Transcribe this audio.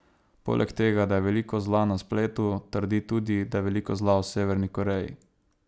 Poleg tega, da je veliko zla na spletu, trdi tudi, da je veliko zla v Severni Koreji.